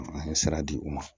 An ye sira di u ma